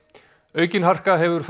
aukin harka hefur